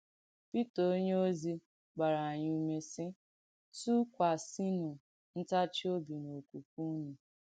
Pìtà onyèòzì gbàrà ànyị̣ ùmè, sì: ‘Tùkwàsìnù ǹtàchì òbì n’òkwùkwè ùnù.’